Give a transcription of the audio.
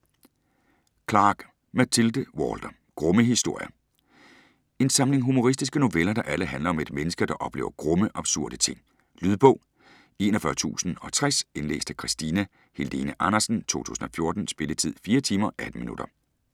Clark, Mathilde Walter: Grumme historier En samling humoristiske noveller, der alle handler om et menneske, der oplever grumme, absurde ting. Lydbog 41060 Indlæst af Christina Helene Andersen, 2014. Spilletid: 4 timer, 18 minutter.